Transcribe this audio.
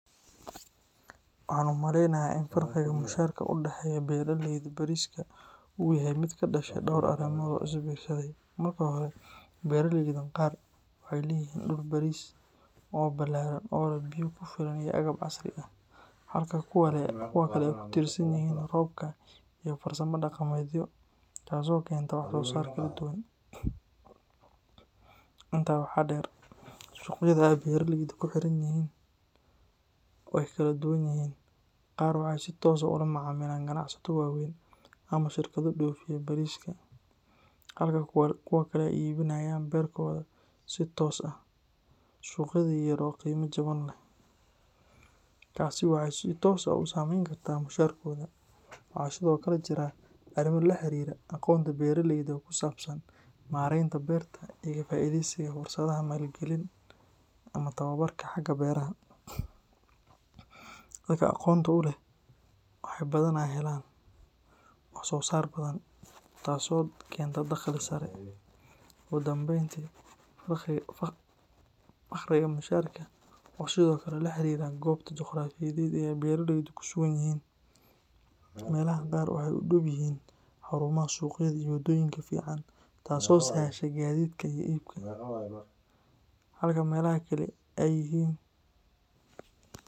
Waxaan u maleynayaa in farqiga mushaharka u dhexeeya beeraleyda bariska uu yahay mid ka dhashay dhowr arrimood oo is biirsaday. Marka hore, beeraleyda qaar waxay leeyihiin dhul baris ah oo ballaaran oo leh biyo ku filan iyo agab casri ah, halka kuwa kale ay ku tiirsan yihiin roobka iyo farsamo dhaqameedyo, taasoo keenta wax soo saar kala duwan. Intaa waxaa dheer, suuqyada ay beeraleydu ku xiran yihiin way kala duwan yihiin; qaar waxay si toos ah ula macaamilaan ganacsato waaweyn ama shirkado dhoofiya bariska, halka kuwa kale ay iibinayaan beerkooda si toos ah suuqyada yar yar oo qiimo jaban leh. Taasi waxay si toos ah u saameyn kartaa mushaharkooda. Waxaa sidoo kale jira arrimo la xiriira aqoonta beeraleyda ee ku saabsan maaraynta beerta iyo ka faa'iideysiga fursadaha maalgelin ama tababarka xagga beeraha. Dadka aqoonta u leh waxay badanaa helaan wax soo saar badan, taasoo keenta dakhli sare. Ugu dambeyntii, farqiga mushaharka waxa uu sidoo kale la xiriiraa goobta juqraafiyeed ee ay beeraleydu ku sugan yihiin; meelaha qaar waxay u dhow yihiin xarumaha suuqyada iyo wadooyin fiican, taasoo sahasha gaadiidka iyo iibka, halka meelaha kale ay yihiin.